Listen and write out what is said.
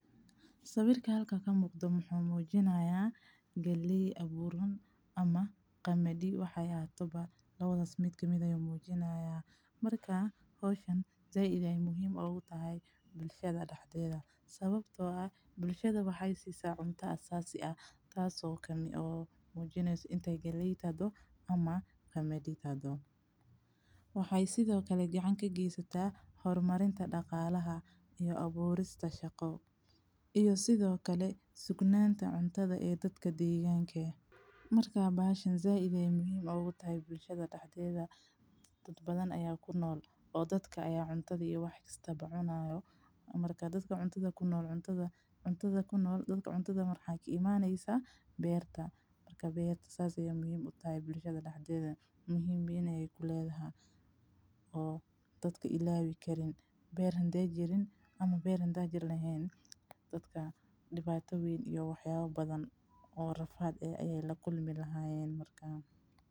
Sawirka halkan ka muuqdo muxuu muujinayaa galley abuuran ama qamadi waxay ahaato labadaas mid ka mid ah muujinayaa markaa hawshan zaa-iday muhiim ugu tahay bulshada dhaxdeeda Sababtoo ah bulshada waxay sii saa cuntaa sasi ah taas oo kemi oo muujinaysu intay galley tado ama qamadi tado. Waxay sidoo kale gacanka giisata, hormarinta dhaqaalaha iyo abuurista shaqo, iyo sidoo kale sugnaanta cuntada ee dadka deegaankeen. Markaa baahsan zaa-iday muhiim ugu tahay bulshada dhaxdeeda, dad badan ayaa ku nool oo dadka ayaa cuntada iyo waxkastaba cunayo. Markaa dadka cuntada ku nool cuntada, cuntada ku nool dadka cuntada marki imaannaysa beerta. Marka beerta saasaya muhiim u tahay bulshada dhaxdeeda. Muhiim ah ay ku leedahay oo dadka ilaawi karin, beer hande jirin ama beer hande jir laheyn. Dadka dhibaatawiin iyo waxyaabo badan oo rafaad ah ayay la kulmi lahaayeen markaa.